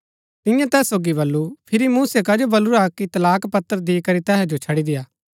तिन्यै तैस सोगी बल्लू फिरी मूसै कजो बलुरा कि तलाक पत्र दी करी तैहा जो छड़ी देय्आ